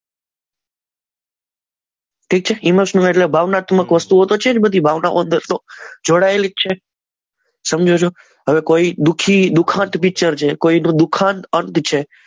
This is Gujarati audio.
ઠીક છે ઈમોશનલ ભાવનાત્મક વસ્તુ છે જ બધી જોડાયેલી જ છે સમજો છો હવે કોઈ દુઃખી ખત પીચર છે એ તો દુઃખદ છે.